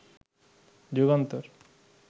Jugantor